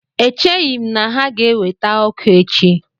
Echeghị m na ha ga-eweta ọkụ echi